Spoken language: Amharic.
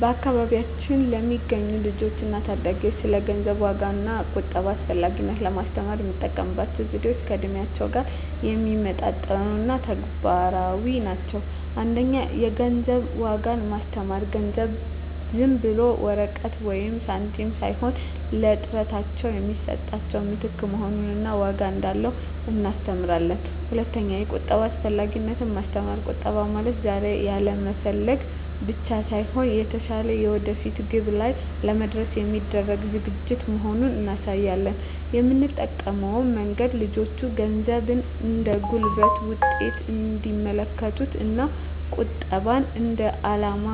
በአካባቢያችን ለሚገኙ ልጆች እና ታዳጊዎች ስለ ገንዘብ ዋጋ እና ቁጠባ አስፈላጊነት ለማስተማር የምንጠቀምባቸው ዘዴዎች ከእድሜያቸው ጋር የሚመጣጠኑ እና ተግባራዊ ናቸው። 1) የገንዘብ ዋጋን ማስተማር ገንዘብ ዝም ብሎ ወረቀት ወይም ሳንቲም ሳይሆን ለጥረታቸው የሚሰጥ ምትክ መሆኑን እና ዋጋ እንዳለው እናስተምራለን። 2)የቁጠባ አስፈላጊነትን ማስተማር ቁጠባ ማለት ዛሬ ያለመፈለግ ብቻ ሳይሆን፣ የተሻለ የወደፊት ግብ ላይ ለመድረስ የሚደረግ ዝግጅት መሆኑን እናሳያለን። የምንጠቀመው መንገድ ልጆቹ ገንዘብን እንደ ጉልበት ውጤት እንዲመለከቱት እና ቁጠባን እንደ የዓላማ